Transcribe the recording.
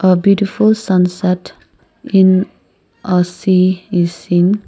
a beautiful sunset in a sea is seeing.